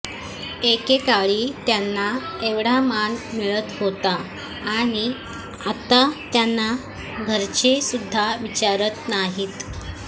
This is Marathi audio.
एकेकाळी त्यांना एवढा मान मिळत होता आणि आता त्यांना घरचे सुद्धा विचारत नाहीत